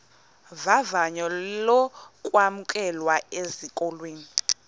vavanyo lokwamkelwa esikolweni